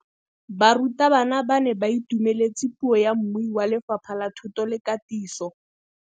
Barutabana ba ne ba itumeletse puô ya mmui wa Lefapha la Thuto le Katiso.